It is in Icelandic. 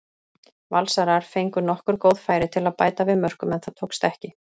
Valsarar fengu nokkur góð færi til að bæta við mörkum en það tókst ekki.